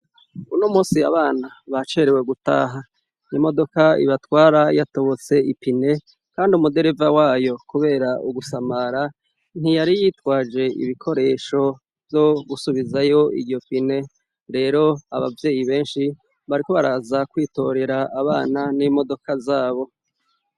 Uno munsi abana bacerewe gutaha imodoka ibatwara yatobotse ipine kandi umudereva wayo kubera ugusamara ntiyari yitwaje ibikoresho vyo gusubizayo iryo pine rero ababyeyi benshi bariko baraza kwitorera abana n'imodoka zabo.